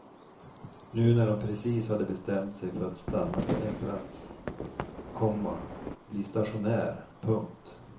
Nu när hon precis hade bestämt sej för att stanna på en plats, komma bli stationär. punkt